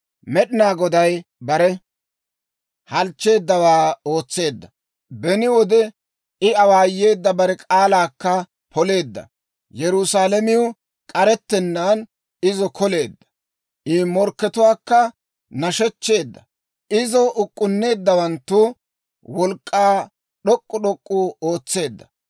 Med'inaa Goday bare halchcheeddawaa ootseedda; beni wode I awaayeedda bare k'aalaakka poleedda. Yerusaalamiw k'arettennaan izo koleedda. I morkkatuwaakka nashechcheedda; izo uk'k'unneeddawanttu wolk'k'aakka d'ok'k'u d'ok'k'u ootseedda.